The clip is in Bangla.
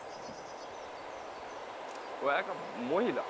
ও একটা মহিলা